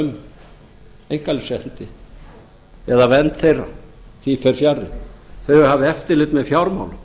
um einkalífsréttindi eða vernd þeirra því fer fjarri þau eiga að hafa eftirlit með fjármálum